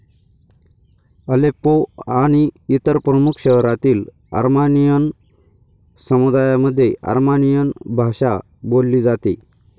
Aleppo आणि इतर प्रमुख शहरांतील अर्मानियन समुदायामध्ये अर्मानियन भाषा बोलली जाते.